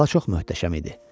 Qala çox möhtəşəm idi.